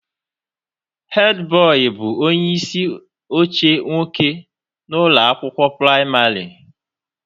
Headboy bụ onye isi oche nwoke na ụlọ akwụkwọ praịmarị